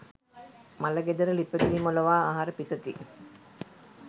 මළගෙදර ළිපගිනි මොළවා අහර පිසති.